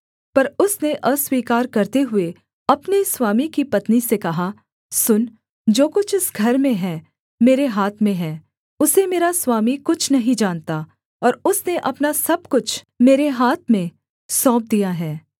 पर उसने अस्वीकार करते हुए अपने स्वामी की पत्नी से कहा सुन जो कुछ इस घर में है मेरे हाथ में है उसे मेरा स्वामी कुछ नहीं जानता और उसने अपना सब कुछ मेरे हाथ में सौंप दिया है